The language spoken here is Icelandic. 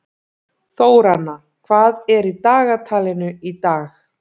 Þóranna, hvað er í dagatalinu í dag?